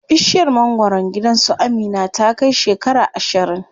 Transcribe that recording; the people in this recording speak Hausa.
Bishiyar mangwaron gidan su Amina ta kai shekara ashirin.